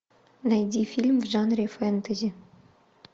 найди фильм в жанре фэнтези